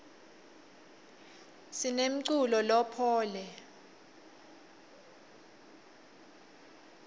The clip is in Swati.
sinemculo lophoule